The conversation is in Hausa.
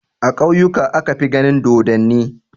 A ƙauyuka aka fi ganin dodonni.